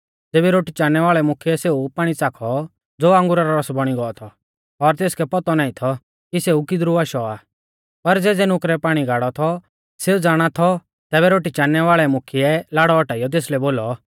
ज़ेबी रोटी चाणनै वाल़ै मुख्यै सेऊ पाणी च़ाखौ ज़ो अंगुरा रौ रस बौणी गौ थौ और तेसकै पौतौ नाईं थौ कि सेऊ किदरु आशौ आ पर ज़ेज़ै नुकरै पाणी गाड़ौ थौ सेऊ ज़ाणा थौ तैबै रोटी चाणनै वाल़ै मुख्यै लाड़ौ औटाइयौ तेसलै बोलौ